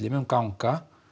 mun ganga